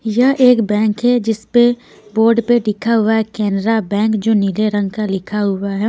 यह एक बैंक है जिस पे बोर्ड पे लिखा हुआ है कैनरा बैंक जो नीले रंग का लिखा हुआ है.